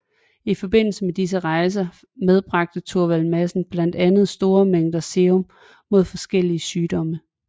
I forbindelse med disse rejser medbragte Thorvald Madsen blandt andet store mængder serum mod forskellige sygdomme